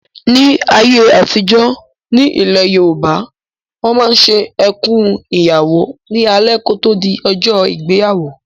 Ní ayé àtijọ́, ní ilẹ̀ Yorùbá, Wọ́n máa ń ṣe "Ẹkùn Ìyàwó" ní alẹ́ kò tó di ọjọ́ ìgbéyàwó